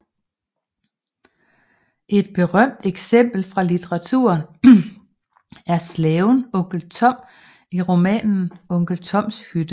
Et berømt eksempel fra litteraturen er slaven onkel Tom i romanen Onkel Toms Hytte